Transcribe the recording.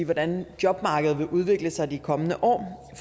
hvordan jobmarkedet vil udvikle sig i de kommende år